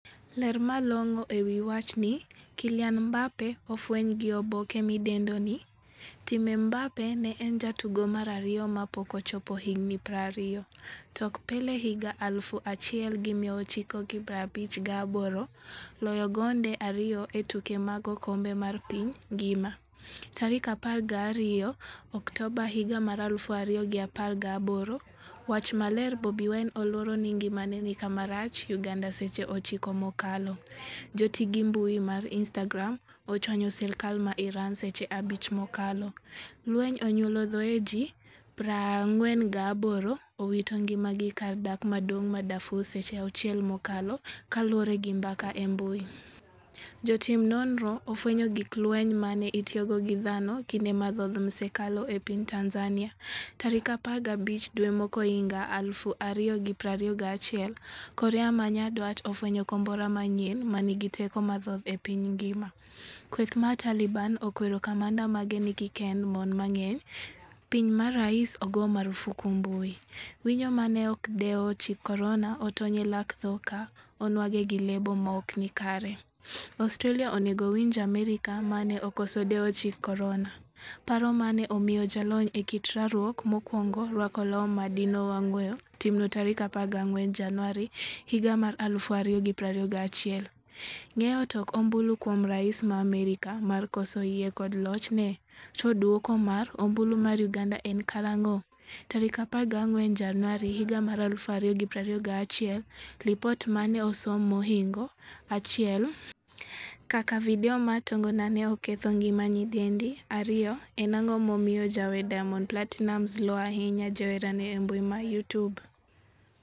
Ler malong'o ewi wachni. Kylian Mbappe ofweny gi oboke midendo ni. Time Mbappe ne en jatugo mar ariyo mapok ochopo higni 20,tok Pele higa 1958, loyo gonde ariyo e tuke mag okombe mar piny ngima, 12 Oktoba 2018. Wach maler Bobi Wine oluoro ni ngimane ni kama rach' Uganda Seche 9 mokalo. Joti gi mbui mar Instagram ochwanyo sirkal ma Iran seche 5 mokalo. Lweny onyuolo thoe ji 48 owito ngima gi kar dak maduong' ma Darfur Seche 6 mokalo kaluore gi mbaka e mbui. Jotim nonro ofwenyo gig lweny mane itiyogo gi dhano kinde mathoth msekalo e piny Tanzania. Tarik 15 dwe mokwongohiga 2021 korea manyandwat ofwenyo kombora manyien manigi teko mathoth e piny ngima. Kweth mar Taliban okwero kamanda mage ni kikkend mon mang'eny. piny ma rais ogo marufuku mbui. Winyo mane ok odewo chik korona otony e lak tho ka onwang'e gi lebo maokni kare. Australia onego winj Amerka mane okoso dewo chik korona. paro mane omiyo jalony e kit rwakruok mokwongo rwako law madino wang' weyo timno tarik 14 januari 2021. Ng'eyo tok ombulu kuom rais ma Amerka mar koso yie kod lochne? To duoko mar ombulu mar uganda en karang'o?14 Januari 2021Lipot mane osom mohingo 1 kaka video mar tongona ne oketho ngima nyidendi 2. en ang'o momiyo jawer Diamond Platinumz luo ahinya joherane embui ma Youtube?